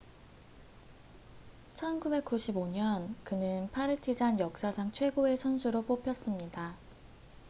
1995년 그는 파르티잔 역사상 최고의 선수로 뽑혔습니다